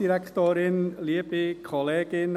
Ich gebe Adrian Haas das Wort.